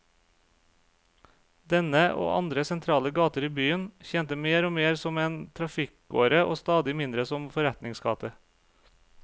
Denne, og andre sentrale gater i byen, tjente mer og mer som en trafikkåre og stadig mindre som forretningsgate.